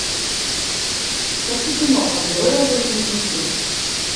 хочу кино аддеролловые дневники